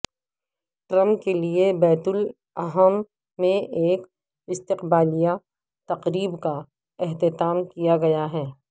Trump کے لیے بیت الاحم میں ایک استقبالیہ تقریب کا اہتمام کیا گیا